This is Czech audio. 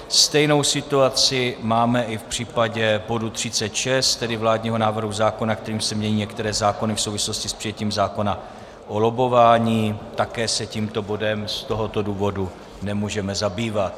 Stejnou situaci máme i v případě bodu 36, tedy vládního návrhu zákona, kterým se mění některé zákony v souvislosti s přijetím zákona o lobbování, také se tímto bodem z tohoto důvodu nemůžeme zabývat.